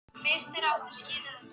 Ekki var við neinn titring